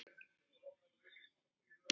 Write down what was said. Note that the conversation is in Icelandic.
Samskot til SÍK.